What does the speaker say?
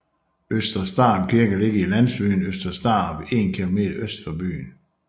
Øster Starup Kirke ligger i landsbyen Øster Starup 1 km øst for byen